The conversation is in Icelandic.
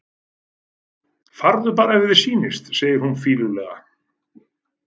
Farðu bara ef þér sýnist, segir hún fýlulega.